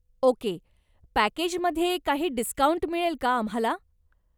Okay, पॅकेजमध्ये काही discount मिळेल का आम्हाला?